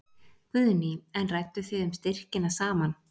Guðný: En rædduð þið um styrkina saman?